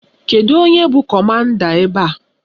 Kedụ onye bụ kọmanda ebe a?